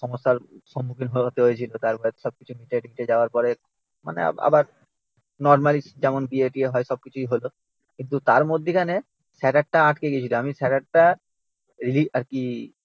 সমস্যার সম্মুখীন হতে হয়েছিল তারপর সবকিছু মিটে টিটে যাওয়ার পরে মানে আবার নর্মালি যেমন বিয়ে টিয়ে হয় সবকিছুই হল। কিন্তু তার মধ্যিখানে স্যার্টার টা আটকে গেছিল আমি স্যার্টার টা রি আর কি